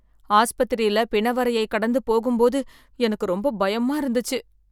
ஆஸ்பத்திரியில பிணவறையை கடந்து போகும் போது எனக்கு ரொம்ப பயமா இருந்துச்சு